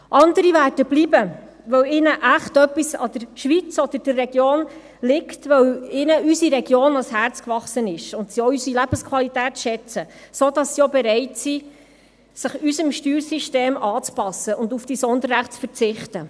Andere werden bleiben, weil ihnen wirklich etwas an der Schweiz oder der Region liegt, weil ihnen unsere Region ans Herz gewachsen ist und sie unsere Lebensqualität schätzen, sodass sie auch bereit sind, sich unserem Steuersystem anzupassen und auf diese Sonderrechte zu verzichten.